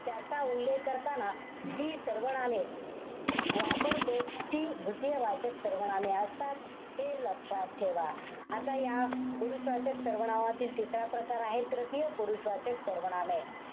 त्याचा उल्लेख करताना जी सर्वनामे वापरतो, ती द्वितीयवाचक सर्वनामे असतात. हे लक्षात ठेवा. आता या पुरुषवाचक सर्वनामातील तिसरा प्रकार आहे, तृतीय पुरुषवाचक सर्वनामे.